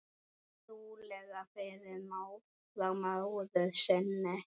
Trúlega frá móður sinni.